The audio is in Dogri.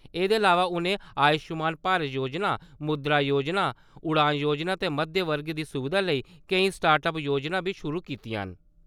एह्दे अलावा उ`नें आयुश्मान भारत जोजना, मुद्रा जोजना, उड़ान जोजना ते मध्यम वर्ग दी सुविधा लेई केईं स्टार्ट-अप जोजनां बी शुरू कीतियां न।